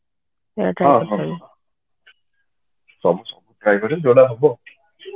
ହଁ ହଁ try କରିବି ଯୋଉଟା ହବ